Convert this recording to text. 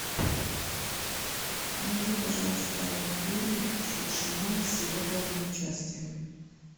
найди пожалуйста фильм шукшина с его главным участием